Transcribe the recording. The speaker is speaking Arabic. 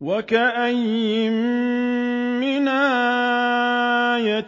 وَكَأَيِّن مِّنْ آيَةٍ